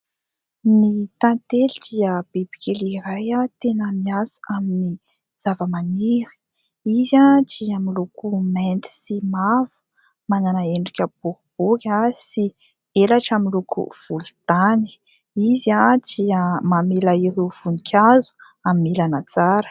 Ny tantely dia biby kely iray tena miasa amin'ny zava-maniry, izy dia miloko mainty sy mavo, manana endrika boribory sy elatra miloko volontany, izy dia mamela ireo voninkazo hamelana tsara.